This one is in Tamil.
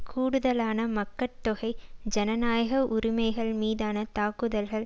கூடுதலான மக்கட்தொகை ஜனநாயக உரிமைகள் மீதான தாக்குதல்கள்